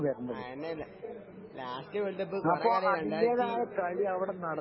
ആ തന്നെ തന്നെ ലാസ്റ്റ് വേൾഡ് കപ്പ് കുറെക്കാലായി രണ്ടായിരത്തി